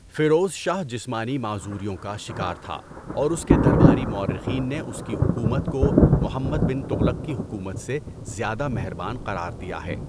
فیروز شاہ جسمانی معذوریوں کا شکار تھا اور اس کے درباری مورخین نے اس کی حکومت کو محمد بن تغلق کی حکومت سے زیادہ مہربان قرار دیا ہے۔